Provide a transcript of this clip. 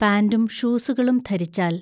പാന്റും ഷൂസുകളും ധരിച്ചാൽ...